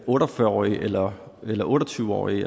otte og fyrre årige eller den otte og tyve årige